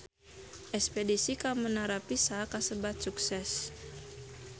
Espedisi ka Menara Pisa kasebat sukses